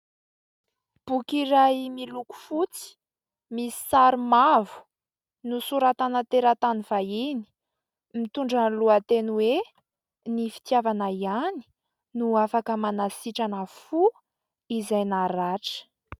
Boky iray miloko fotsy misy sary mavo nosoratana teratany vahiny, mitondra ny lohateny hoe : "ny fitiavana ihany no afaka manasitrana fo izay naratra".